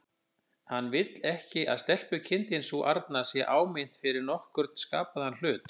Hann vill ekki að stelpukindin sú arna sé áminnt fyrir nokkurn skapaðan hlut.